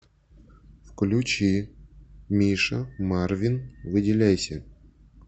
включи миша марвин выделяйся